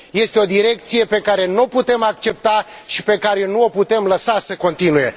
Este o direcție pe care n o putem accepta și pe care nu o putem lăsa să continue.